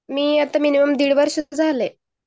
मी आता मिनिमम डिड वर्ष झालाय